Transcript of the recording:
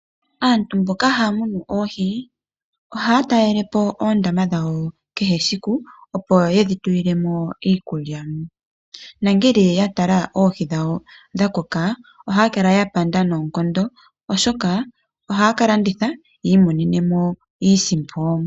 Aantu mboka haya munu oohi ohaya talele po oondaama dhawo kehe esiku, opo ye dhi tulile mo iikulya. Ngele ya tala oohi dhawo dha koka ohaya kala ya panda noonkondo, oshoka ohaya ka landitha yi imonene mo iisimpo.